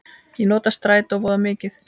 Ég nota strætó voða mikið.